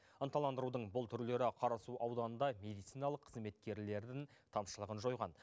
ынталандырудың бұл түрлері қарасу ауданында медициналық қызметкерлердің тапшылығын жойған